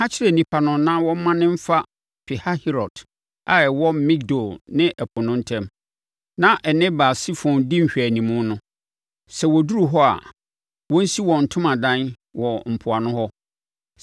“Ka kyerɛ nnipa no na wɔmmane mfa Pihahirot a ɛwɔ Migdol ne ɛpo no ntam na ɛne Baal-Sefon di nhwɛanimu no. Sɛ wɔduru hɔ a, wɔnsi wɔn ntomadan wɔ mpoano hɔ.